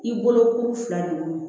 I bolo kuru fila de don